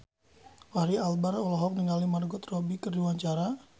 Fachri Albar olohok ningali Margot Robbie keur diwawancara